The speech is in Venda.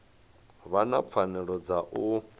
vha na pfanelo ya u